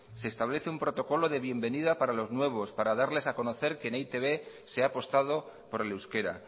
se establece un protocolo de bienvenida para los nuevos para darles a conocer que en e i te be se ha apostado por el euskera